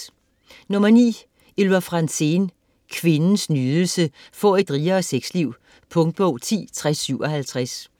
Franzén, Ylva: Kvindens nydelse: få et rigere sexliv Punktbog 106057